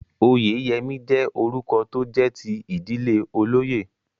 Oyèyẹmí jẹ́ orúkọ tó jẹ́ ti ìdílé olóyè